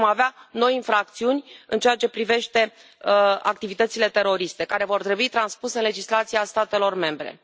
Deci vom avea noi infracțiuni în ceea ce privește activitățile teroriste, care vor trebui transpuse în legislația statelor membre.